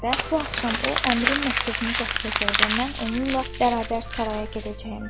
və bu axşam o əmirin məktubunu gətirəcək və mən onunla bərabər saraya gedəcəyəm.